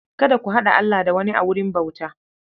Kada ku haɗa Allah da wani a wurin bauta.